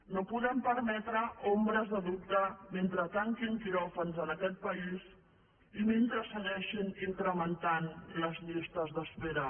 no podem permetre ombres de dubte mentre tanquin quiròfans en aquest país i mentre es segueixin incrementant les llistes d’espera